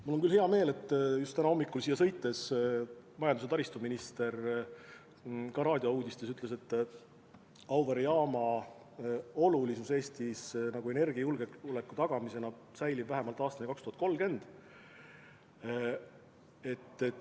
Mul on küll hea meel, et just täna hommikul siia sõites ma kuulsin, kuidas majandus- ja taristuminister raadiouudistes ütles, et Auvere jaama olulisus Eesti energiajulgeoleku tagamisel püsib vähemalt aastani 2030.